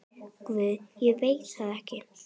Guð, ég veit það ekki.